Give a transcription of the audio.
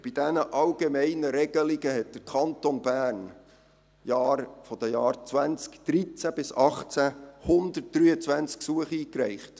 Bei diesen allgemeinen Regelungen reichte der Kanton Bern in den Jahren 2013–2018 123 Gesuche ein.